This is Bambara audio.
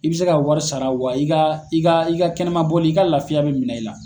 I bɛ se ka wari sara wa i ka i ka i ka kɛnɛma bɔli i ka laafiya bɛ minɛ i la.